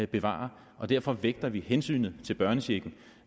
bevare og derfor vægter vi måske hensynet til børnechecken